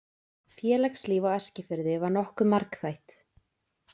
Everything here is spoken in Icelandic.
Félagslíf á Eskifirði var nokkuð margþætt.